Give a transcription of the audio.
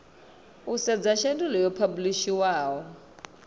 u sedza shedulu yo phabulishiwaho